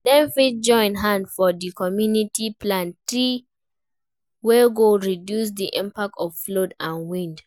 Dem fit join hand for di community plant trees wey go reduce the impact of flood and wind